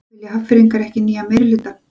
Vilja Hafnfirðingar ekki nýjan meirihluta?